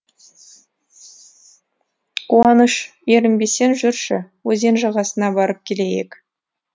қуаныш ерінбесең жүрші өзен жағасына барып келейік